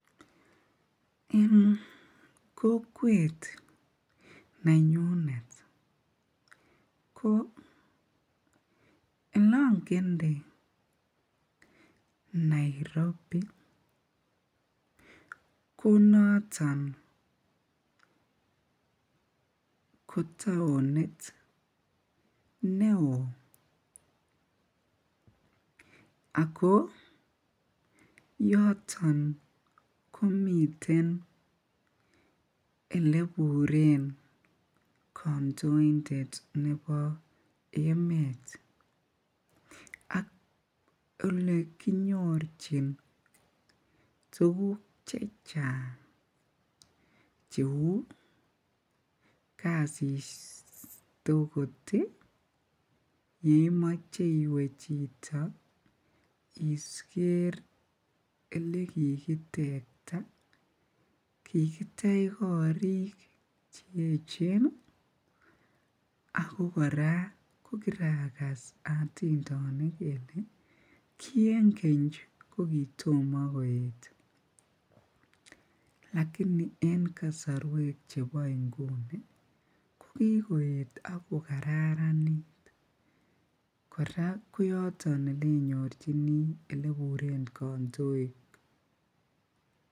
En kokwet nenyunet ko elongende Nairobi ko noton ko taonit neoo ak ko yoton komiten eleburen kandointet nebo emet ak elee kinyorchin tukuk chechang cheuu kasit okot yeimoche iwee chito elekikitekta, kikitech korik che echen ak ko kora ko kirakas otindenik kelee kii en keny ko kitomo koet lakini en kosorwek chebo inguni ko kikoet ak ko kararanit, kora ko yoton elenyorchini eleburen kondoik.